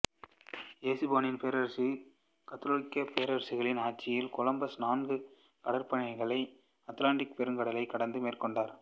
எசுப்பானியப் பேரரசின் கத்தோலிக்க பேரரசர்களின் ஆட்சியில் கொலம்பசு நான்கு கடற்பயணங்களை அத்திலாந்திக்கு பெருங்கடலைக் கடந்து மேற்கொண்டுள்ளார்